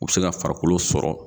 U bɛ se ka farikolo sɔrɔ.